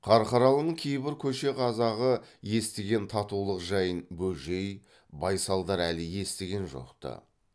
қарқаралының кейбір көше қазағы естіген татулық жайын бөжей байсалдар әлі естіген жоқ ты